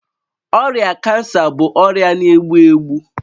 Ọrịa kansa bụ ọrịa na-egbu egbu